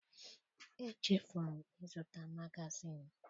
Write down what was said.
Echefuru m ịzụta magazin